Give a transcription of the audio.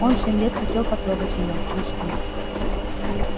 он семь лет хотел потрогать её москву